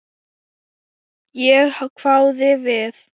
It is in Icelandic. Ég hváði við.